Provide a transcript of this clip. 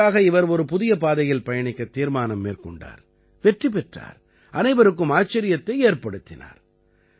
இதற்காக இவர் ஒரு புதிய பாதையில் பயணிக்கத் தீர்மானம் மேற்கொண்டார் வெற்றி பெற்றார் அனைவருக்கும் ஆச்சரியத்தை ஏற்படுத்தினார்